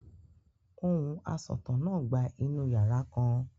Ohùn asọ̀tàn náà gba inú yàrá kan.